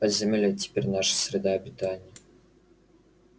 подземелье это теперь наша среда обитания